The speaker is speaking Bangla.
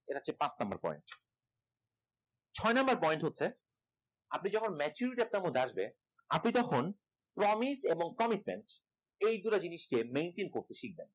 এটা হচ্ছে পাঁচ number point ছয় number point হচ্ছে আপনি যখন maturity আপনার মধ্যে আসবে আপনি তখন promise এবং commitment এই দুইটা জিনিসকে maintain করতে শিখবেন